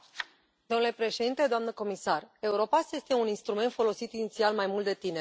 Domnule președinte, doamnă comisar, Europass este un instrument folosit inițial mai mult de tineri.